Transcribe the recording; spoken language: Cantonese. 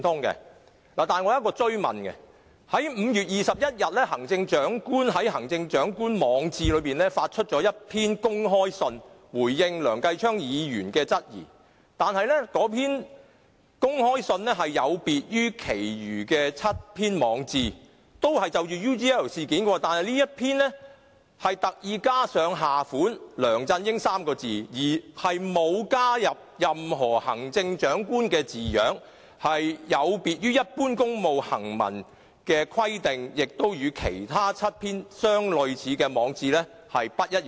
但是，我想追問，在5月21日，行政長官於他的網誌上發出公開信，以回應梁繼昌議員的質疑，但那封公開信有別於其他7篇就 UGL 事件而發出的網誌，那封公開信特意加上下款"梁振英 "3 個字，並沒有加入任何行政長官的字樣，有別於一般公務行文的規定，亦與其他7篇類似的網誌不一樣。